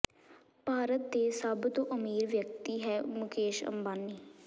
ਭਾਰਤ ਦੇ ਸਭ ਤੋਂ ਅਮੀਰ ਵਿਅਕਤੀ ਹੈ ਮੁਕੇਸ਼ ਅੰਬਾਨੀ